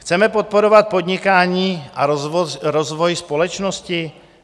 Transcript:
Chceme podporovat podnikání a rozvoj společnosti?